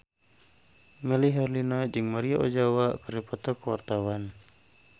Melly Herlina jeung Maria Ozawa keur dipoto ku wartawan